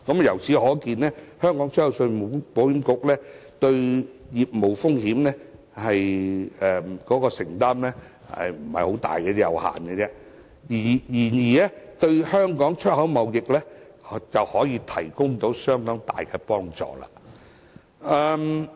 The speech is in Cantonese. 由此可見，信保局對業務風險的承擔不是太大，相當有限，卻可以為香港出口貿易提供相當大幫助。